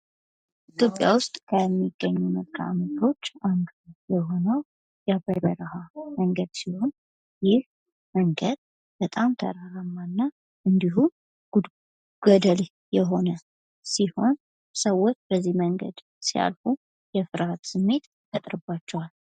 ኢትዮጵያ ውስጥ ከሚገኙ መልከአምድሮች አንዱ የሆነውን የአባይ በረሃ መንገድ ሲሆን፤ ይህ መንገድ በጣም ተራራማ እና እንዲሁም ገድል የሆነ ሲሆን። ሰዎች በዚህ መንገድ ሲያልፉ የፍርሐት ስሜት ፈጥሮባቸዋል።